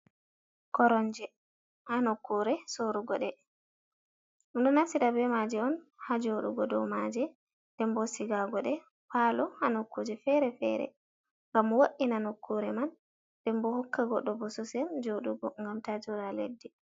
Koromje ha nokkure sorrugoɗe. Ɗumɗo naftira be maje ha joɗugo dow maje, nden bo sigagoɗe palo ha nokkuje fere fere ngam wo, ina nokkure man. Nden bo hokka goɗɗo bososel joɗugo ngam ta joɗa ha leddi.